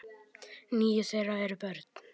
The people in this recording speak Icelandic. Níu þeirra eru börn.